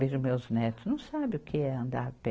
Vejo meus netos, não sabem o que é andar a pé.